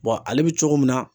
ale bɛ cogo min na